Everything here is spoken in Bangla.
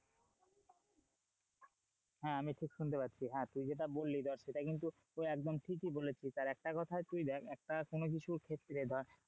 হ্যাঁ আমি ঠিক শুনতে পাচ্ছি হ্যাঁ তুই যেটা বলি দেখ সেটা কিন্তু একদম ঠিকিই বলেছিস আর একটা কথা তুই দেখ একটা কোনো কিছু ক্ষেত্রে ধর,